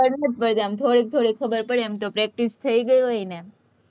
ખબર નથી પડતી, આમ થોડી થોડી ખબર પડે છે, એમ તો practice થઇ ગઈ હોય ને